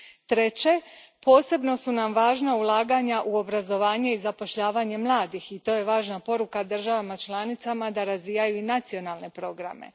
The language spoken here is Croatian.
Treće, posebno su nam važna ulaganja u obrazovanje i zapošljavanje mladih i to je važna poruka državama članicama da razvijaju i nacionalne programe.